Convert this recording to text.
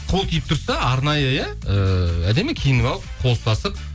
қол тиіп тұрса арнайы иә ыыы әдемі киініп алып қол ұстасып